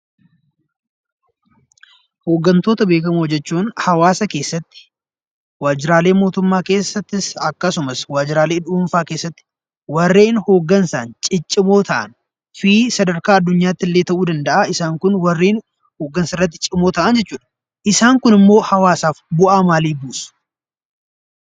Hoggantoota beekamoo jechuun hawaasa keessatti, waajjiraalee mootummaa keessattis akkasumas waajjiraalee dhuunfaa keessatti warreen hoggansaan ciccimoo ta'anii sadarkaa addunyaatti illee ta'uu danda'a. Isaan kun warreen hoggansarratti cimoo ta'an jechuudha. Isaan kunimmoo hawaasaaf bu'aa maalii buusu?